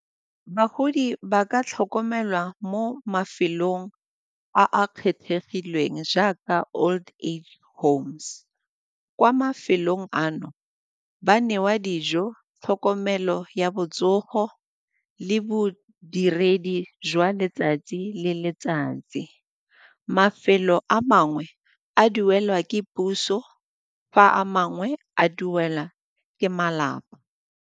Bagodi ba ka tlhokomelwa mo mafelong a a kgethegileng jaaka old age homes, kwa mafelong ano ba newa dijo, tlhokomelo ya botsogo le bodiredi jwa letsatsi le letsatsi. Mafelo a mangwe a duelwa ke puso fa a mangwe a duela ke malapa.